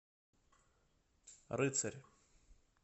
рыцарь